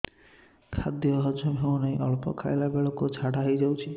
ଖାଦ୍ୟ ହଜମ ହେଉ ନାହିଁ ଅଳ୍ପ ଖାଇଲା ବେଳକୁ ଝାଡ଼ା ହୋଇଯାଉଛି